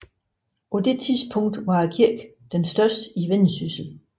På det tidspunkt var kirken den største i Vendsyssel